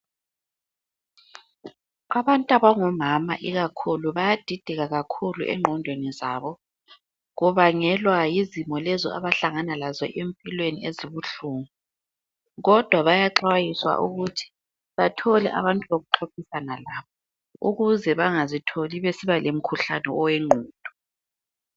Abantu abangomama ikakhulu bayadideka kakhulu engqondweni zabo kubangelwa yizimo lezo abahlangana lazo empilweni ezibuhlungu kodwa bayaxwayiswa ukuthi bathole abantu bokuxoxisana labo ukuze bangazitholi besiba lomkhuhlane owengqondo.